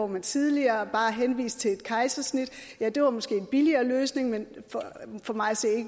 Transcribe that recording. man tidligere bare henviste til at foretage et kejsersnit det var måske en billigere løsning men for mig at se